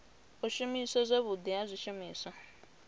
u shumiswa zwavhudi ha zwishumiswa